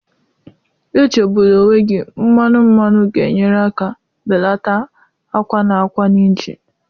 Echegbula onwe gị, mmanu mmanu ga-enyere aka belata akwa na akwa na injin.